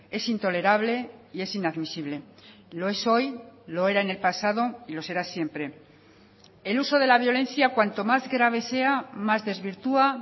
es intolerable y es inadmisible lo es hoy lo era en el pasado y lo será siempre el uso de la violencia cuanto más grave sea más desvirtúa